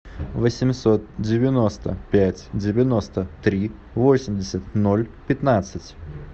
восемьсот девяносто пять девяносто три восемьдесят ноль пятнадцать